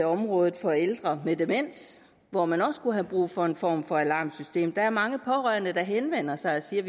området for ældre med demens hvor man også kunne have brug for en form for alarmsystem der er mange pårørende der henvender sig og siger at